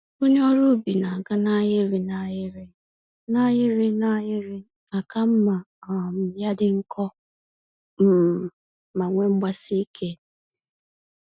Onye ọrụ ubi na-aga n'ahịrị n'ahịrị, n'ahịrị n'ahịrị, àkà mmá um ya dị nkọ um ma nwee mgbasike